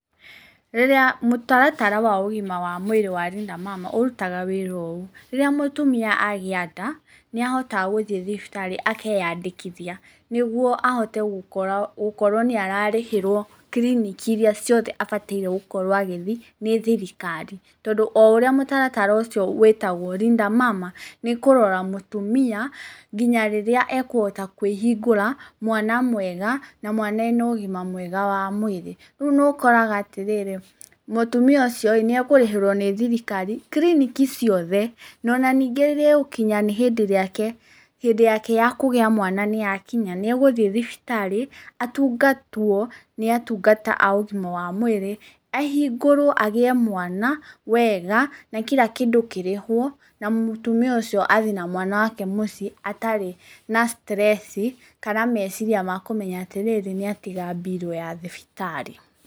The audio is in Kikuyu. Rĩrĩa mũtaratara wa ũgima wa mwĩrĩ wa Linda Mama ũrutaga wĩra ũũ, rĩrĩa mũtumia agĩa nda, nĩ ahotaga gũthiĩ thibitarĩ akeyandĩkithia nĩ guo ahote gũkorwo nĩ ararĩhĩrwo kiriniki iria ciothe abataire gũkorwo agĩthiĩ nĩ thirikari, tondũ o ũrĩa mũtaratara ũcio wĩtagwo Linda Mama nĩ kũrora mũtumia, nginya rĩrĩa ekũhota kwĩhingũra mwana mwega, na mwana ena ũgima mwega wa mwĩrĩ, rĩu nĩ ũkoraga atĩrĩrĩ, mũtumia ũcio nĩ ekũrĩhĩrwo nĩ thirikari kiriniki ciothe, ona ningĩ nĩ ĩgũkinya hĩndĩ yake ya kũgĩa mwana nĩ yakinya nĩ egũthiĩ thibitarĩ, atungatwo nĩ atungata a ũgima wa mwĩrĩ, ahingũrwo agĩe mwana wega, na kira kĩndũ kĩrĩhwo, na mũtumia ũcio athi na mwana wake mũciĩ atarĩ na stress kana meciria ma kũmenya atĩrĩrĩ nĩ atiga bill ya thibitarĩ.